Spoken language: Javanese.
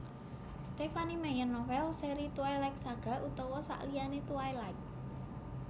Stephenie Meyer novèl seri Twiligt Saga utawa sakliyané Twilight